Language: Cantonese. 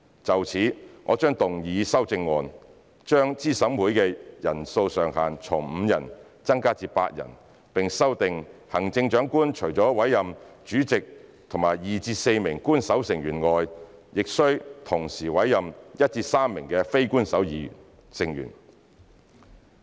就此，我將動議修正案，將資審會的人數上限從5人增加至8人，並修訂行政長官除了委任主席及2至4名官守成員外，須同時委任1至3名非官守成員。